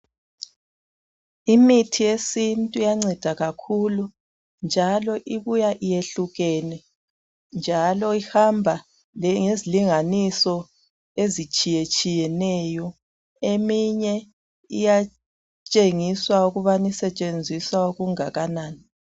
Imithi yesintu iyanceda kakhulu njalo ibuya iyehlukene njalo ihamba ngezilinganiso ezitshiyetshiyeneyo eminye iyatshengisa ukubana isetshenziswa okungakanani.